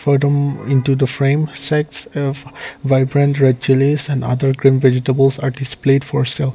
into the frame sets of vibrant red chillies and other green vegetables are displayed for sell.